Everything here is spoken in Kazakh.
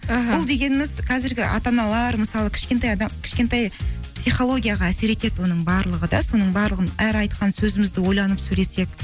іхі бұл дегеніміз қазіргі ата аналар мысалы кішкентай психологияға әсер етеді оның барлығы да соның барлығын әр айтқан сөзімізді ойланып сөйлесек